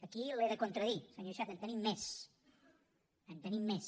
aquí l’he de contradir senyor iceta en tenim més en tenim més